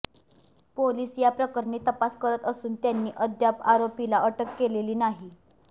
police या प्रकरणी तपास करत असून त्यांनी अद्याप आरोपीला अटक केलेली नाही